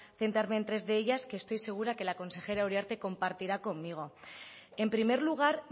centrarme en tres de ellas que estoy segura que la consejera uriarte compartirá conmigo en primer lugar